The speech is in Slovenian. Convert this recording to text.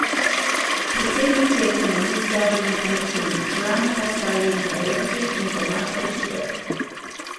Predsednik je ekonomist Davorin Kračun, člana pa sta Alenka Jerkič in Tomaž Perše.